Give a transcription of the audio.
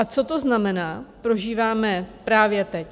A co to znamená, prožíváme právě teď.